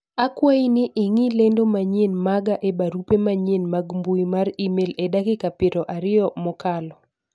akwayi ni ing'i lendo manyien maga e barupe manyien mag mbui mar email e dakika piero ariyo mokalo